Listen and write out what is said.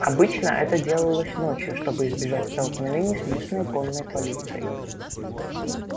обычно это делалось ночью чтобы избежать столкновения с местной конной полицией